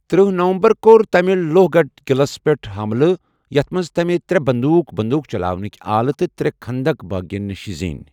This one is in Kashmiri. تٔرہ نومبر کور تمہِ لوہ گڈھ قعلس پیٹھ حملہٕ ، یتھ منز تمہِ ترٚے بندوُق ،بندوٗق چلاونٕکہِ آلہٕ تٕہ ترٚے خندق بٲغِین نِشہٕ زینۍ ۔